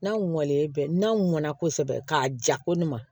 N'a mɔlen bɛ n'a mɔnna kosɛbɛ k'a ja ko ne ma